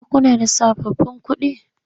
Ko kuna da sababbin kuɗi?